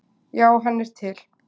Já, hann er til.